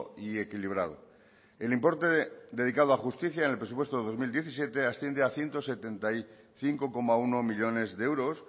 y equilibrado el importe dedicado a justicia en el presupuesto del dos mil diecisiete asciendo a ciento setenta y cinco coma uno millónes de euros